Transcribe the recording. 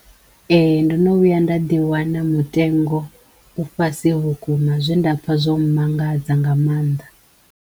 Ee ndo no vhuya nda ḓi wana mutengo u fhasi vhukuma zwe nda pfha zwo mmangadza nga mannḓa.